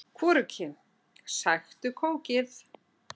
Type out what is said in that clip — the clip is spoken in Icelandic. Hvorugkyn: Sæktu kókið.